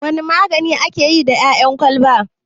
Wane magani ake yi da ƴaƴan kwalaba?